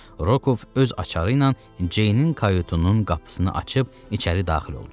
Rokov öz açarı ilə Ceynin kayutunun qapısını açıb içəri daxil oldu.